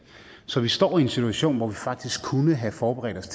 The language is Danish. så vi står i en situation hvor vi faktisk kunne have forberedt os